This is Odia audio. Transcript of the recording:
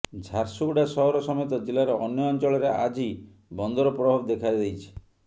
ଝାରସୁଗୁଡ଼ା ସହର ସମେତ ଜିଲ୍ଲାର ଅନ୍ୟ ଅଞ୍ଚଳରେ ଆଜି ବନ୍ଦର ପ୍ରଭାବ ଦେଖାଦେଇଛି